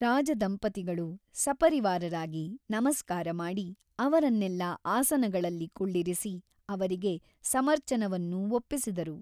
ರಾಜದಂಪತಿಗಳು ಸಪರಿವಾರರಾಗಿ ನಮಸ್ಕಾರಮಾಡಿ ಅವರನ್ನೆಲ್ಲಾ ಆಸನಗಳಲ್ಲಿ ಕುಳ್ಳಿರಿಸಿ ಅವರಿಗೆ ಸಮರ್ಚನವನ್ನು ಒಪ್ಪಿಸಿದರು.